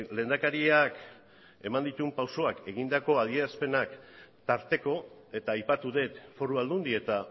lehendakariak eman dituen pausuak egindako adierazpenak tarteko eta aipatu dut foru aldundi eta